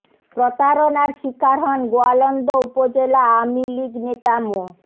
প্রতারণার শিকার হন গোয়ালন্দ উপজেলা আওয়ামী লীগ নেতা মো